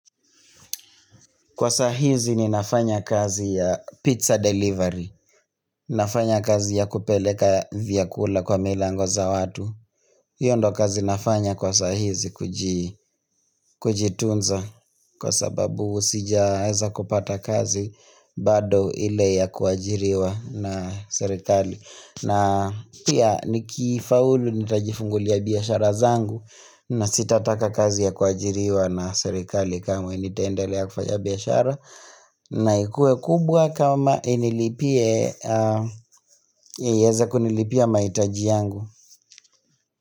Kwa saa hizi ninafanya kazi ya pizza delivery, nafanya kazi ya kupeleka vyakula kwa milango za watu hio ndo kazi nafanya kwa saa hizi kujitunza kwa sababu sijaenza kupata kazi bado ile ya kuajiriwa na serikali na pia nikifaulu nitajifungulia biashara zangu na sitataka kazi ya kuajiriwa na serikali kamwe nitaendelea kufanya biashara na ikuwe kubwa kama inilipie, ieze kunilipia mahitaji yangu.